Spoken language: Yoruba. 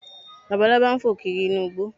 Labalábá ń fò kiri inú igbó